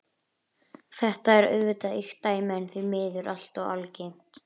Þetta er auðvitað ýkt dæmi en því miður allt of algengt.